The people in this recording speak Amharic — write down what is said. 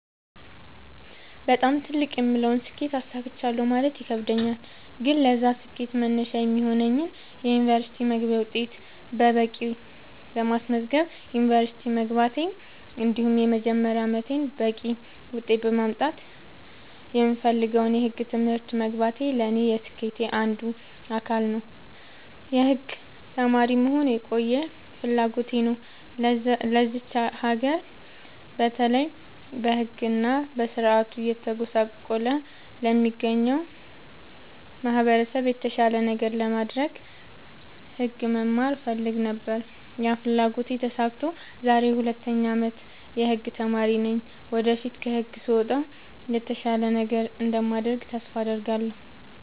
በጣም ትልቅ የምለውን ስኬት አሳክቻለሁ ማለት ይከብደኛል። ግን ለዛ ስኬት መነሻ የሚሆነኝን የ ዩኒቨርስቲ መግቢያ ውጤት በቂ በማስመዝገብ ዩንቨርስቲ መግባቴ እንዲሁም የመጀመሪያ አመቴን በቂ ውጤት በማምጣት የምፈልገውን የህግ ትምህርት መግባቴ ለኔ የስኬቴ አንዱ አካል ነው። የህግ ተማሪ መሆን የቆየ ፍላጎቴ ነው ለዚች ሀገር በተለይ በህግ እና በስርዓቱ እየተጎሳቆለ ለሚገኘው ማህበረሰብ የተሻለ ነገር ለማድረግ ህግ መማር እፈልግ ነበር ያ ፍላጎቴ ተሳክቶ ዛሬ የ 2ኛ አመት የህግ ተማሪ ነኝ ወደፊት ከግቢ ስወጣ የተሻለ ነገር እንደማደርግ ተስፋ አድርጋለሁ።